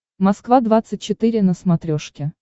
москва двадцать четыре на смотрешке